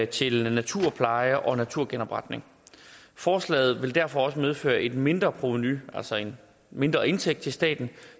til naturpleje og naturgenopretning forslaget vil derfor også medføre et mindre provenu altså en mindre indtægt til staten